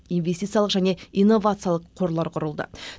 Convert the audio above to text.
инвестициялық және инновациялық қорлар құрылды